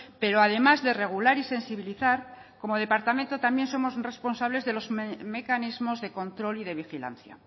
pero además de regular y sensibilizar como departamento también somos responsables de los mecanismos de control y de vigilancia